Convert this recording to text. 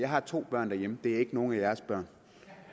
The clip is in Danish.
har to børn derhjemme og det er ikke nogen af jeres børn